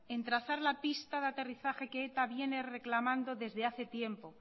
en trazar la pista de aterrizaje que eta viene reclamando desde hace tiempo